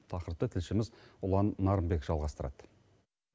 тақырыпты тілшіміз ұлан нарынбек жалғастырады